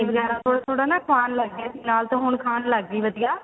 ਵਗੈਰਾ ਥੋੜਾ ਥੋੜਾ ਨਾ ਖਾਣ ਲੱਗ ਜੇ ਫਿਹਲਾਲ ਤਾਂ ਹੁਣ ਖਾਣ ਲੱਗ ਗਈ ਵਧੀਆ